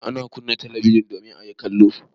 Ana kunna talabijin domin a yi kallo.